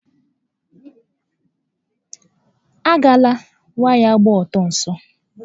A gala waya gba ọtọ nso